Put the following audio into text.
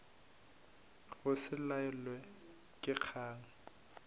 go se lalwe ke kgang